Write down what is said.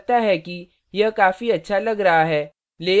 मुझे लगता है कि यह काफी अच्छा लग रहा है